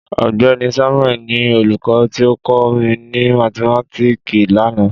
Ọgbẹni Samuel ni olukọ ti o kọ mi ni mathimatiki lana.